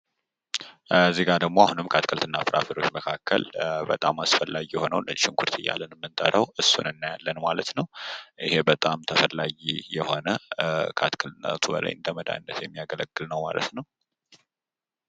በምስሉ ላይ ከአትክልት እና ፍራፍሬ መካከል በጣም አስፈላጊ የሆነውን ነጭ ሽንኩርት እያልን የምንተራውን እናያለን ይህም ከአትክልትነቱ ባሻገር ለመድሃኒትነት የሚያገለግል ነው።